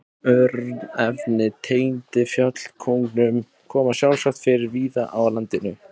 Örnefni tengd fjallkóngum koma sjálfsagt fyrir víða á landinu.